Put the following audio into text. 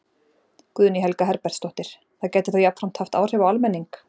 Guðný Helga Herbertsdóttir: Það gæti þá jafnframt haft áhrif á almenning?